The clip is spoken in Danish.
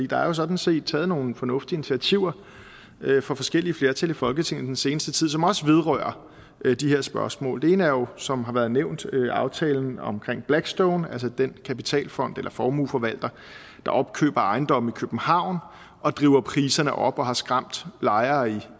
der er jo sådan set taget nogle fornuftige initiativer fra forskellige flertal i folketinget den seneste tid som også vedrører de her spørgsmål det ene er jo som det har været nævnt aftalen omkring blackstone altså den kapitalfond eller formueforvalter der opkøber ejendomme i københavn og driver priserne op og som har skræmt lejere